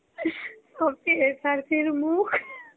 ভাবছি SRC এর মুখ.